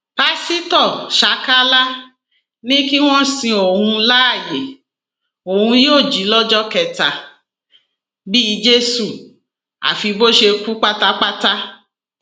pásítọ ṣákálá ni kí wọn sin òun láàyè òun yóò jí lọjọ kẹta bíi jésù àfi bó ṣe kú pátápátá